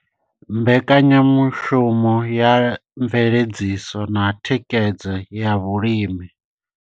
Mbekanyamushumo ya mveledziso na thikhedzo ya vhulimi.